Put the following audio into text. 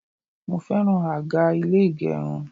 Mo fẹ́ràn àga ilé ìgẹrun.